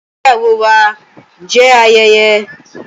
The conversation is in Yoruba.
Ìgbéyàwó wà jẹ ayẹyẹ.